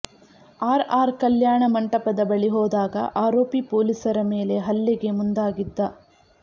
R R ಕಲ್ಯಾಣ ಮಂಟಪದ ಬಳಿ ಹೋದಾಗ ಆರೋಪಿ ಪೊಲೀಸರ ಮೇಲೆ ಹಲ್ಲೆಗೆ ಮುಂದಾಗಿದ್ದ